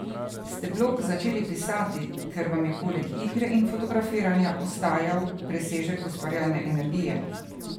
Ste blog začeli pisati, ker vam je poleg igre in fotografiranja ostajal presežek ustvarjalne energije?